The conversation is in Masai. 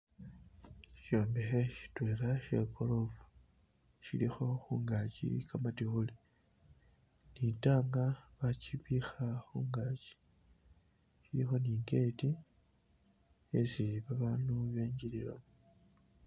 Ishombekhe shitwela shegorofa shilikho khungaki kamatikhuli , litaaka bakibikha khungaki ilikho ni i'gate esi babandu bengililamo.